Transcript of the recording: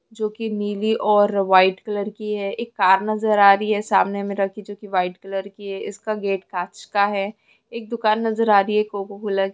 जो की नीली और व्हाइट कलर की है एक कार नजर आ रही है सामने में रखी जो की व्हाइट कलर की है इसका गेट कांच का है एक दुकान नजर आ रही है एक कोकोकोला --